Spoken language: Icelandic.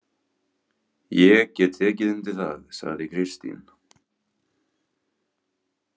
Ég get tekið undir það, sagði Kristín.